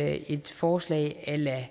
er et forslag a la